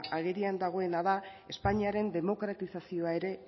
agerian dagoela da espainiaren demokratizazioa ere